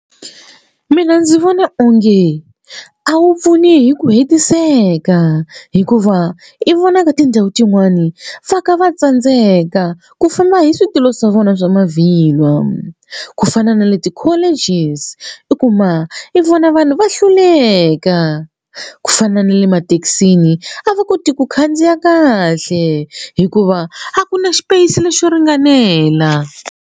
Mina ndzi vona onge a wu pfuni hi ku hetiseka hikuva i vona ka tindhawu tin'wani va kha va tsandzeka ku famba hi switulu swa vona swa mavhilwa ku fana na le ti-colleges i kuma i vona vanhu va hluleka ku fana na le emathekisini a va koti ku khandziya kahle hikuva a ku na xipeyisi lexo ringanela.